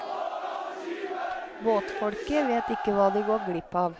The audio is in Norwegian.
Båtfolket vet ikke hva de går glipp av.